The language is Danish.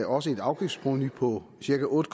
også et afgiftsprovenu på cirka otte